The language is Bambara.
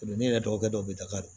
Donni yɛrɛ dɔgɔkɛ dɔ bɛ daga don